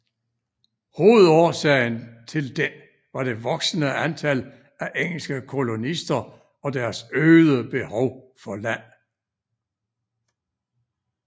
Hovedårsagen til den var det voksende antal af engelske kolonister og deres øgede behov for land